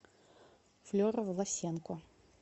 флера власенко